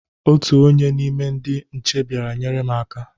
Otu onye n' ime ndị nche bịara nyere m aka.